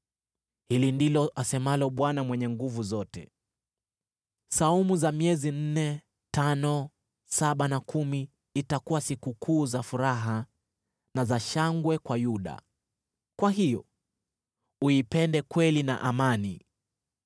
Hili ndilo asemalo Bwana Mwenye Nguvu Zote: “Saumu za miezi ya nne, tano, saba na kumi itakuwa sikukuu za furaha na za shangwe kwa Yuda. Kwa hiyo uipende kweli na amani.”